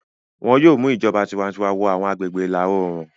Wọn yóò mu ìjọba tiwantiwa wọ àwọn agbègbè ìlà-oòrùn.